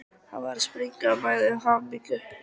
Hann var að springa af mæði og hamingju.